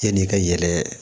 Yan'i ka yɛlɛ